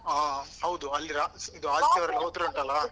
ಹ ಹೌದು ಅಲ್ಲಿ ರಾಶಿ ಇದು ಆದಿತ್ಯವಾರಯೆಲ್ಲ ಹೋದ್ರೆ ಉಂಟಲ್ಲ?